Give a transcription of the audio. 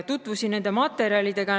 Tutvusin nende materjalidega.